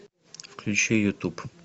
включи ютуб